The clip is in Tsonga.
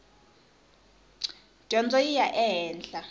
dyondzo yi ya ehenhla